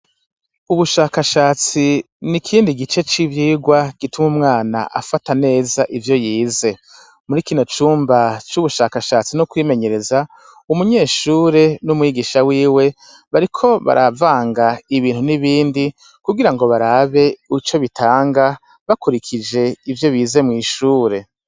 Ubushakashatsi n' ikindi gice c' ivyigwa gitum' umwan' afata nez' ivyo yize, muri kino cumba c' ubushakashatsi n' ukwimenyereza, umunyeshure n' umwigisha wiwe bariko baravang' ibintu n'ibindi kugira barab' ico bitanga bakurikij' ivyo bize mw'ishure.